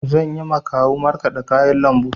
Zanyi ma kawu markaɗa kayan lambu.